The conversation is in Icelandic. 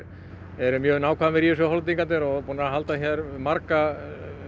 eru mjög nákvæmir í þessu Hollendingarnir og eru búnir að halda marga